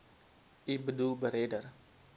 u boedel beredder